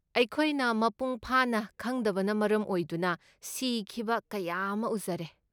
ꯑꯩꯈꯣꯏꯅ ꯃꯄꯨꯡ ꯐꯥꯅ ꯈꯪꯗꯕꯅ ꯃꯔꯝ ꯑꯣꯏꯗꯨꯅ ꯁꯤꯈꯤꯕ ꯀꯌꯥ ꯑꯃ ꯎꯖꯔꯦ꯫